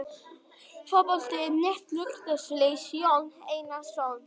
Fótbolti.net, Laugardalsvelli- Jón Einar Jónsson.